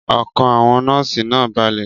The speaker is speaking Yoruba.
Ọkàn àwọn nọ́ọ̀sì náà balẹ̀.